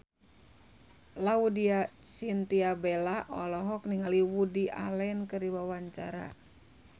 Laudya Chintya Bella olohok ningali Woody Allen keur diwawancara